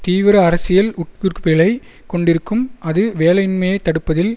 தீவிர அரசியல் உட்குறிப்புக்களை கொண்டிருக்கும் அது வேலையின்மையைத் தடுப்பதில்